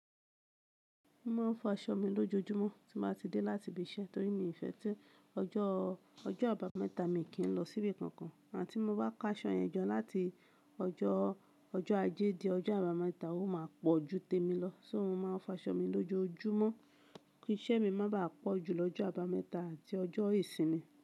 Mo máa ń fọ aṣọ mi lójoojúmọ́ tí mo bá ti dé láti ibi iṣẹ́ torí mi ò fẹ́ tí ọjọ́, ọjọ́ àbámẹ́ta mi kì í lọ síbi kankan. Àti tí mo bá kó aṣọ yẹn jọ láti ọjọ́, ọjọ́ ajé di ọjọ́ àbámẹ́ta, ó máa pọ̀ ju témi lọ. Só mo ma ń fọ aṣọ mi lójoojúmọ́ kí iṣẹ́ mi má bàá pọ̀ ju lọ́jọ́ àbámẹ́ta àti ọjọ́ ìsinmi.